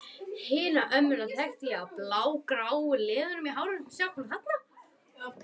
Hina ömmuna þekkti ég á blágráu liðunum í hárinu.